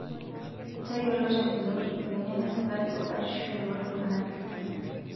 Tayiolo tenguton emoyian esukari o batisho yolltung'ana le Kenya.